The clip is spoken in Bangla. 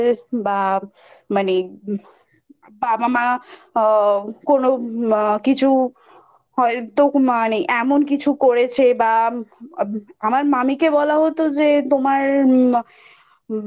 বা মানে বাবা মা আ কোনো আ কিছু হয়তো মানে এমন কিছু করেছে বা আমার মামীকে বলা হতো যে তোমার মা মানে